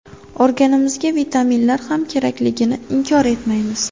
Organizmga vitaminlar ham kerakligini inkor etmaymiz.